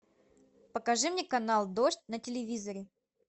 покажи мне канал дождь на телевизоре